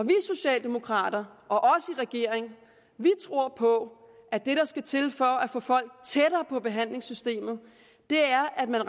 vi socialdemokrater og regeringen tror på at det der skal til for at få folk tættere på behandlingssystemet er at man